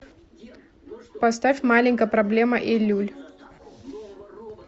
поставь маленькая проблема эйлюль